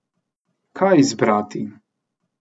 Kaj izbrati?